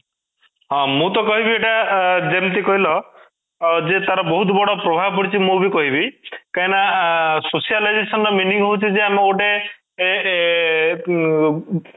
ହଁ, ମୁଁ ତ କହିବି ଏଇଟା ଅଂ ଯେମିତି କହିଲ ଯେ ତାର ବହୁତ ବଡ ପ୍ରଭାବ ପଡିଛି ମୁଁ ବି କହିବି କାଇଁ ନା socialization ର meaning ହଉଛି ଯେ ଆମେ ଗୋଟେ ଏଁ